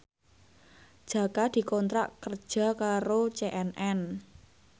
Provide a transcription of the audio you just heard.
Jaka dikontrak kerja karo CNN